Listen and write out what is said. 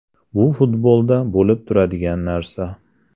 Bu futbolda bo‘lib turadigan narsa.